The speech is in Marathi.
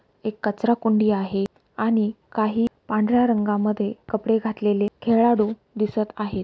एक कचरा कुंडी आहे आणि काही पांढऱ्या रंगामध्ये कपड़े घातलेले खेड़ाळु दिसत आहे.